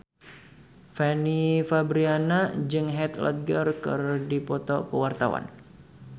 Fanny Fabriana jeung Heath Ledger keur dipoto ku wartawan